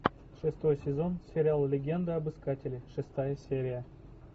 шестой сезон сериал легенда об искателе шестая серия